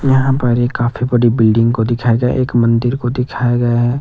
यहां पर एक काफी बड़ी बिल्डिंग को दिखाया गया एक मंदिर को दिखाया गया है।